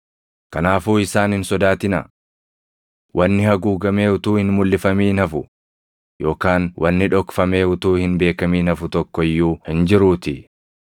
“Kanaafuu isaan hin sodaatinaa. Wanni haguugamee utuu hin mulʼifamin hafu yookaan wanni dhokfamee utuu hin beekamin hafu tokko iyyuu hin jiruutii.